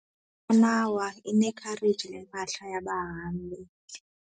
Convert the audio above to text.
Inqanawa inekhareji lempahla yabahambi.